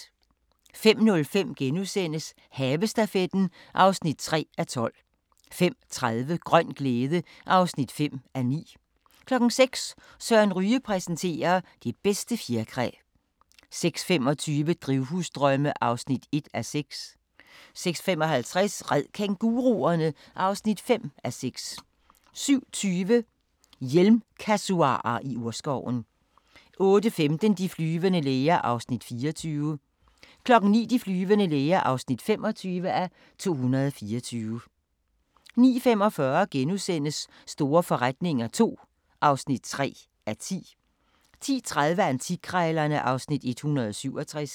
05:05: Havestafetten (3:12)* 05:30: Grøn glæde (5:9) 06:00: Søren Ryge præsenterer: Det bedste fjerkræ 06:25: Drivhusdrømme (1:6) 06:55: Red kænguruerne! (5:6) 07:20: Hjelmkasuarer i urskoven 08:15: De flyvende læger (24:224) 09:00: De flyvende læger (25:224) 09:45: Store forretninger II (3:10)* 10:30: Antikkrejlerne (Afs. 167)